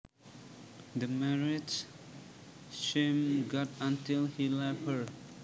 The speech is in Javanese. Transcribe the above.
The marriage seemed good until he left her